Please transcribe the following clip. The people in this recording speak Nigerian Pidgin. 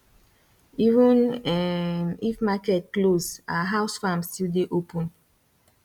even um if market close our house farm still dey open